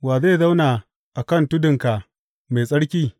Wa zai zauna a kan tudunka mai tsarki?